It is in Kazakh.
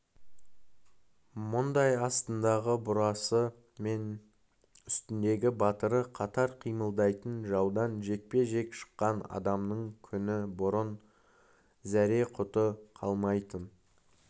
мұндай астындағы бурасы мен үстіндегі батыры қатар қимылдайтын жаудан жекпе-жек шыққан адамның күні бұрын зәре-құты қалмайтын